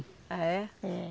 Ah é? É